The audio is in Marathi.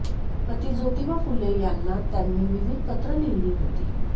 पती जोतिबा फुले यांना त्यांनी विविध पत्रं लिहिली होती